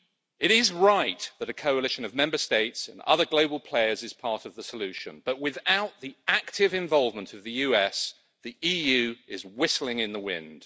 It is right that a coalition of Member States and other global players is part of the solution, but without the active involvement of the US, the EU is whistling in the wind.